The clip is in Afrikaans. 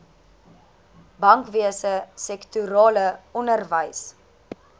bankwese sektorale onderwys